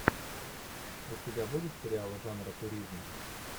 у тебя будет сериалы жанра туризм